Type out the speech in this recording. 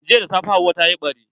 Jiya da safe hauwa tayi ɓari.